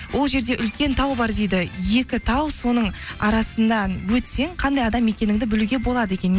ол жерде үлкен тау бар дейді екі тау соның арасынан өтсең қандай адам екеніңді білуге болады екен